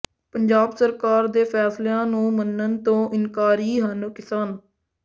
ਪੰਜਾਬ ਸਰਕਾਰ ਦੇ ਫ਼ੈਸਲਿਆਂ ਨੂੰ ਮੰਨਣ ਤੋਂ ਇਨਕਾਰੀ ਹਨ ਕਿਸਾਨ